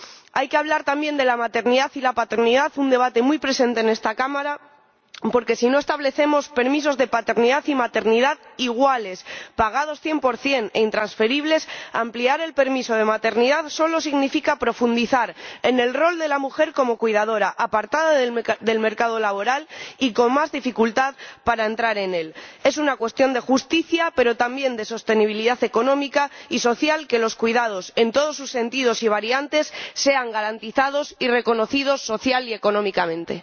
Hay que hablar también de la maternidad y la paternidad, un debate muy presente en esta Cámara porque, si no establecemos permisos de paternidad y maternidad iguales, pagados cien por cien e intransferibles, ampliar el permiso de maternidad solo significa profundizar en el rol de la mujer como cuidadora apartada del mercado laboral y con más dificultad para entrar en él. Es una cuestión de justicia, pero también de sostenibilidad económica y social, que los cuidados, en todos sus sentidos y variantes, sean garantizados y reconocidos social y económicamente.